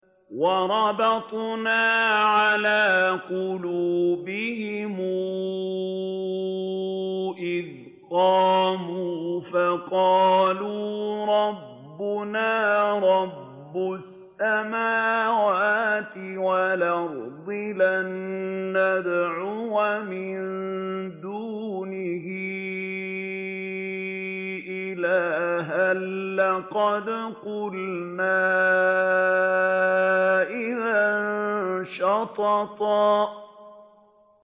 وَرَبَطْنَا عَلَىٰ قُلُوبِهِمْ إِذْ قَامُوا فَقَالُوا رَبُّنَا رَبُّ السَّمَاوَاتِ وَالْأَرْضِ لَن نَّدْعُوَ مِن دُونِهِ إِلَٰهًا ۖ لَّقَدْ قُلْنَا إِذًا شَطَطًا